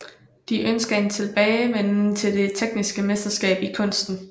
De ønsker en tilbagevenden til det tekniske mesterskab i kunsten